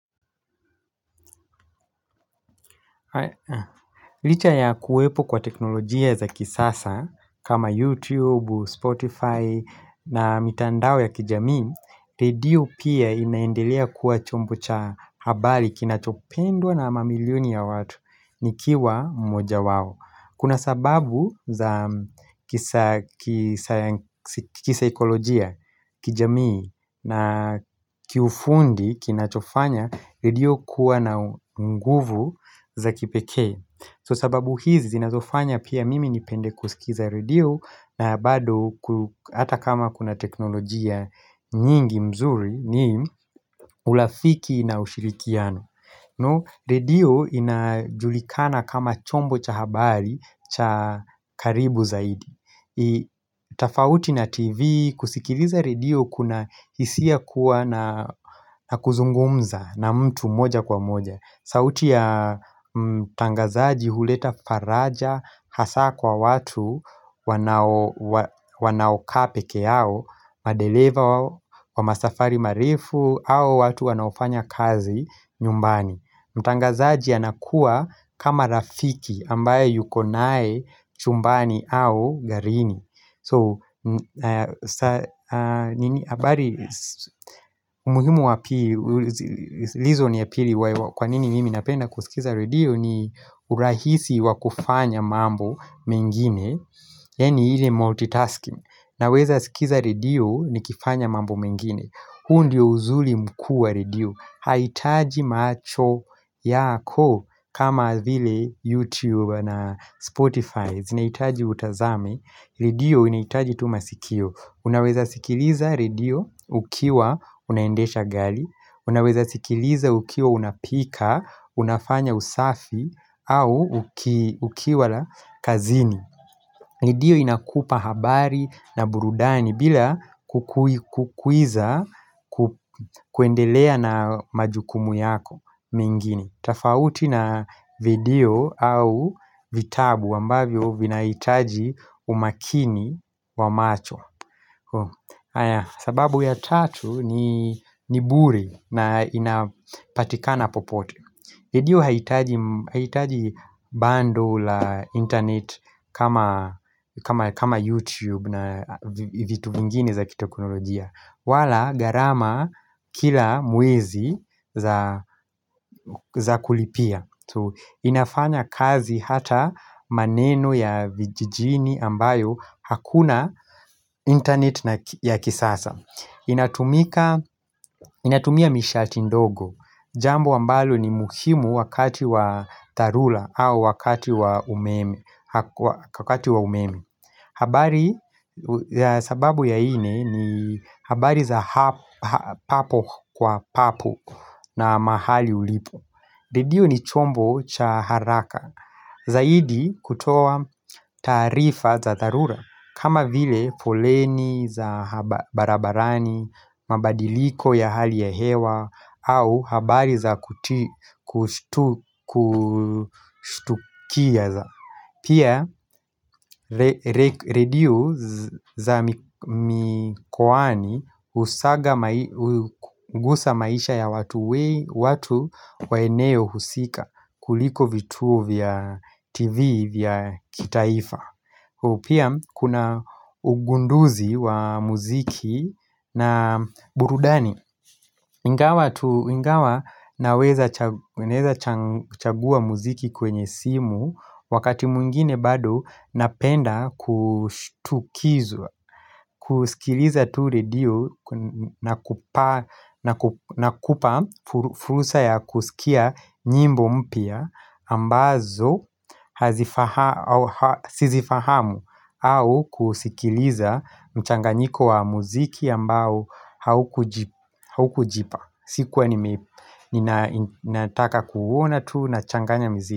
Licha ya kuwepo kwa teknolojia za kisasa kama YouTube, Spotify na mitandao ya kijamii redio pia inaendelea kuwa chombo cha habari kinachopendwa na mamilioni ya watu nikiwa mmoja wao Kuna sababu za kisaikolojia kijamii na kiufundi kinachofanya redio kuwa na nguvu za kipekee So sababu hizi zinazofanya pia mimi nipende kusikiza redio na bado hata kama kuna teknolojia nyingi mzuri ni ulafiki na ushirikiano No, redio inajulikana kama chombo cha habari cha karibu zaidi tafauti na tv, kusikiliza redio kuna hisia kuwa na kuzungumza na mtu moja kwa moja sauti ya mtangazaji huleta faraja hasa kwa watu wanaokaa peke yao Madeleva wa masafari marefu su watu wanaofanya kazi nyumbani Mtangazaji anakuwa kama rafiki ambaye yuko nae chumbani au garini So, abari umuhimu wa pili reason ya pili kwa nini mimi napenda kusikiza redio ni urahisi wa kufanya mambo mengine Yaani ile multitasking Naweza sikiza redio nikifanya mambo mengine huu ndio uzuli mkuu ya redio Haitaji macho yako kama vile YouTube na Spotify zinaitaji utazame Redio inaitaji tu masikio Unaweza sikiliza redio ukiwa unaendesha gali Unaweza sikiliza ukiwa unapika, unafanya usafi au ukiwa la kazini Redio inakupa habari na burudani bila kukuiza kuendelea na majukumu yako mengine tafauti na video au vitabu ambavyo vinaitaji umakini wa macho sababu ya tatu ni bure na inapatikana popote Redio haitaji bando la internet kama YouTube na vitu vingine za kiteknolojia wala gharama kila mwezi za kulipia inafanya kazi hata maneno ya vijijini ambayo hakuna internet ya kisasa inatumia mishati ndogo Jambo ambalo ni muhimu wakati wa tharula au wakati wa umeme habari ya sababu ya ine ni habari za papo kwa papo na mahali ulipo Redio ni chombo cha haraka Zaidi kutoa taarifa za dharura kama vile foleni za barabarani, mabadiliko ya hali ya hewa au habari za kustukia za Pia redio za mikowani usaga Ungusa maisha ya watu wa eneo husika kuliko vituo vya tv vya kitaifa Pia kuna ugunduzi wa muziki na burudani Ingawa naweza chagua muziki kwenye simu, wakati mwingine bado napenda kushtukizwa, kusikiliza tu redio na kupa fursa ya kusikia nyimbo mpya ambazo sizifahamu au kusikiliza mchanganyiko wa muziki ambao haukujipa sikuwa nime, ninataka kuona tu nachanganya muziki.